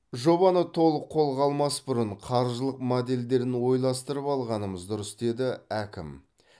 жобаны толық қолға алмас бұрын қаржылық моделдерін ойластырып алғанымыз дұрыс деді әкім